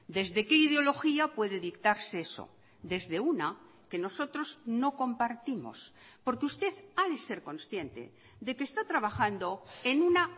desde qué ideología puede dictarse eso desde una que nosotros no compartimos porque usted ha de ser consciente de que está trabajando en una